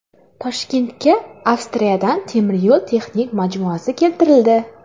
Toshkentga Avstriyadan temir yo‘l texnik majmuasi keltirildi.